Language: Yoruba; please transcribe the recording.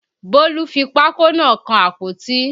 Bólú fi pákó náà kan àpótí